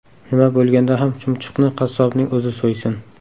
Nima bo‘lganda ham chumchuqni qassobning o‘zi so‘ysin.